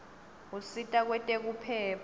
usita kwetekuphepha